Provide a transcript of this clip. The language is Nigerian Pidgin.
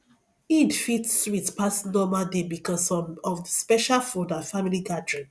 eid fit sweet pass normal day because um of the special food and family gathering